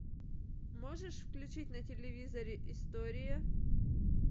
можешь включить на телевизоре истории